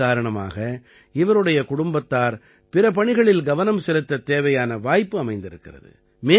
இதன் காரணமாக இவருடைய குடும்பத்தார் பிற பணிகளில் கவனம் செலுத்தத் தேவையான வாய்ப்பு அமைந்திருக்கிறது